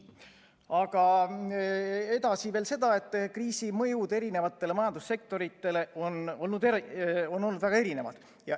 Aga edasi veel seda, et kriisi mõjud eri majandussektoritele on olnud väga erinevad.